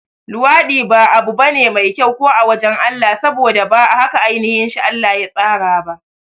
Luwaɗi ba abu bane mai kyau ko a wajan Allah, saboda ba haka ainashi Allah ya tsara ba